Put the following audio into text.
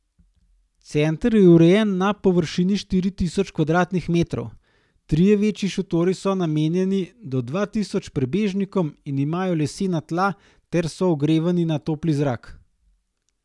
Center je urejen na površini štiri tisoč kvadratnih metrov, trije večji šotori so namenjeni do dva tisoč prebežnikom in imajo lesena tla ter so ogrevani na topli zrak.